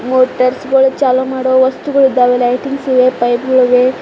ಮೋಟರ್ಸ್ಗಳು ಚಾಲೋ ಮಾಡುವ ವಸ್ತುಗಳು ಇದಾವೆ ಲೈಟಿಂಗ್ಸ್ ಇವೆ ಪೈಪ್ ಗಳ ಇವೆ.